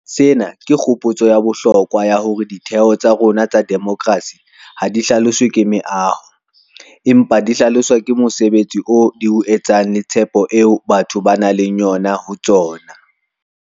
Sena ke kgopotso ya bohlokwa ya hore ditheo tsa rona tsa demokerasi ha di hlaloswe ke meaho, empa di hlaloswa ke mosebetsi oo di o etsang le tshepo eo batho ba nang le yona ho tsona.